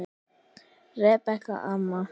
Rebekka amma.